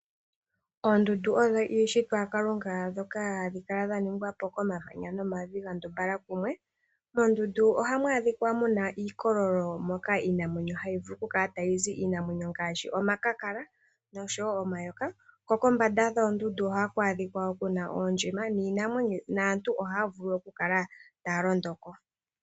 Oondundu odho iishitwa ya Kalunga, dhoka hadhi kala dha ningwa po komamanya nomavi ga ndumbala kumwe. Moondundu ohamu adhikwa muna iikololo moka iinamwenyo hayi vulu okukala tayi zi. Iinamwenyo ngaashi omakakala noshowo omayoka. Ko kombanda dhoondundu ohaku adhikwa wo ku na oondjima naantu ohaya vulu okukala taya londo ko.